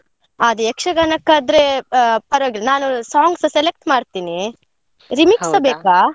ಅದೇ ಯಕ್ಷಗಾನಕಾದ್ರೆ ಆ ಪರವಾಗಿಲ್ಲ ನಾನು song ಸ select ಮಾಡ್ತೀನಿ. ಬೇಕಾ?